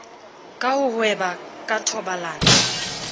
ka ho hweba ka thobalano